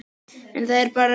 En það er bara grátt.